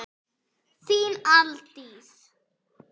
Þín Aldís.